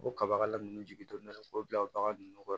O kabakala ninnu jigi donn'a la k'o bila o bagan ninnu kɔrɔ